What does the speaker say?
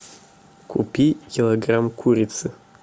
купи килограмм курицы